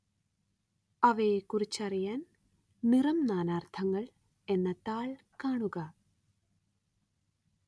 അവയെക്കുറിച്ചറിയാന്‍ നിറം നാനാര്‍ത്ഥങ്ങള്‍ എന്ന താള്‍ കാണുക